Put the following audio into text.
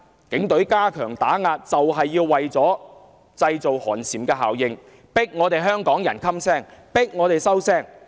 警隊加強打壓正是為了製造寒蟬效應，迫香港人噤聲、收聲。